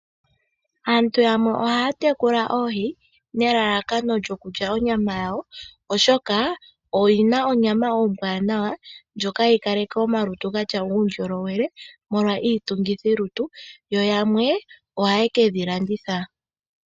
Aantu yamwe ohaya tekula oohi nelalakano lyokulya onyama yawo, oshoka oyi na onyama ombwaanawa ndjoka hayi kaleke omalutu ga tya uundjolowele molwa iitungithilutu. Yo yamwe ohaye ke dhi landitha.